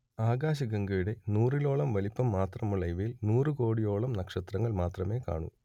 ആകാശഗംഗയുടെ നൂറിലൊന്നോളം വലിപ്പം മാത്രമുള്ള ഇവയിൽ നൂറുകോടിയോളം നക്ഷത്രങ്ങൾ മാത്രമേ കാണൂ